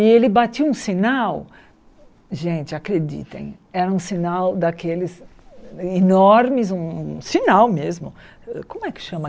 E ele batia um sinal, gente, acreditem, era um sinal daqueles enormes, um um sinal mesmo, como é que chama?